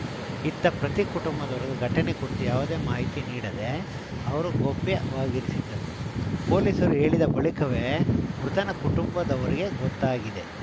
ಇತ್ತ ಪ್ರತೀಕ್‌ ಕುಟುಂಬದವರಿಗೆ ಘಟನೆ ಕುರಿತು ಯಾವುದೇ ಮಾಹಿತಿ ನೀಡದೆ ಅವರು ಗೌಪ್ಯವಾಗಿರಿಸಿದ್ದರು ಪೊಲೀಸರು ಹೇಳಿದ ಬಳಿಕವೇ ಮೃತನ ಕುಟುಂಬದವರಿಗೆ ಗೊತ್ತಾಗಿದೆ